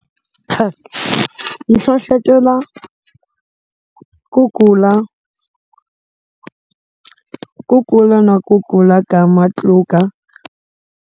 Hlohlotela ku kula ku kula na ku kula ka matluka.